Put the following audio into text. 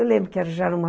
Eu lembro que já era uma